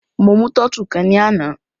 Mo mú tọ́tù kan ní àná.